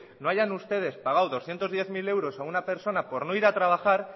no hayan ustedes pagado doscientos diez mil euros a una personas por no ir a trabajar